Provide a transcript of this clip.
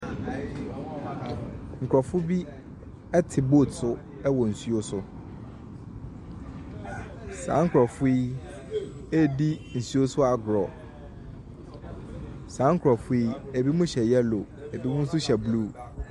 Nkurɔfo bi te boat so wɔ nsuo so, saa nkurɔfoɔ yi redi nsuo so agorɔ, saa nkurofoɔ yi binom hyɛ yellow, binom nso hyɛ blue.